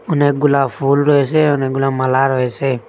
অনেকগুলা ফুল রয়েসে অনেকগুলা মালা রয়েসে।